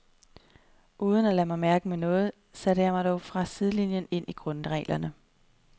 Uden at lade mig mærke med noget satte jeg mig dog fra sidelinien ind i grundreglerne.